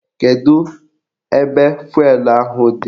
Kedu ebe fụelụ ahụ dị?